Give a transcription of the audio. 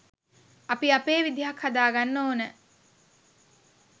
අපි අපේ විදියක් හදාගන්න ඕන.